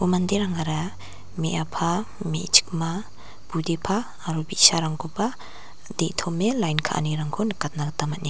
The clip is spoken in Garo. manderangara me·apa me·chikma budepa aro bi·sarangkoba de·tome lain ka·anirangko nikatna gita man·e --